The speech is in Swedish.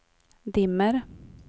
dimmer